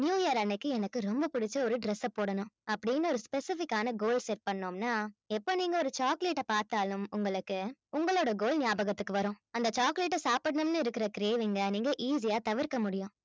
new year அன்னைக்கு எனக்கு ரொம்ப பிடிச்ச ஒரு dress அ போடணும் அப்படின்னு ஒரு specific ஆன goal set பண்ணோம்னா எப்ப நீங்க ஒரு chocolate அ பார்த்தாலும் உங்களுக்கு உங்களோட goal ஞாபகத்துக்கு வரும் அந்த chocolate அ சாப்பிடணும்னு இருக்கிற craving அ நீங்க easy யா தவிர்க்க முடியும்